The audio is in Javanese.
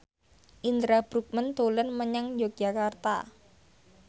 Indra Bruggman dolan menyang Yogyakarta